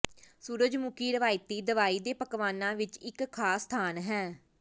ਸੂਰਜਮੁਖੀ ਰਵਾਇਤੀ ਦਵਾਈ ਦੇ ਪਕਵਾਨਾ ਵਿੱਚ ਇੱਕ ਖਾਸ ਸਥਾਨ ਹੈ